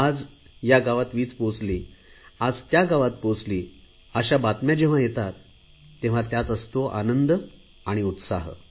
आज या गावात वीज पोहचली आज त्या गावात पोहचली अशा बातम्या येतात तेव्हा त्यात असतो आनंद आणि उत्साह